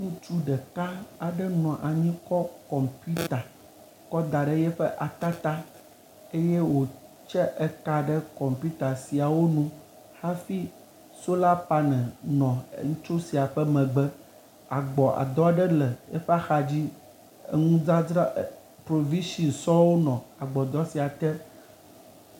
Ŋutsu ɖeka aɖe nɔ anyi kɔ kɔmputa kɔ́ da ɖe yɛƒe ata tá eyɛ wòtse eka ɖe kɔmputa siawó nu hafi sola panel nɔ ŋutsu sia ƒe megbe. Agbɔdɔ aɖe le ŋutsu sia ƒe axadzi, eŋudzadzra provishin sɔŋ nɔ agbɔdɔ sia te